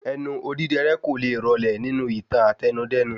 Ẹnu odidẹrẹ́ kóle rọlẹ nínú ìtàn Àtẹnudẹ́nu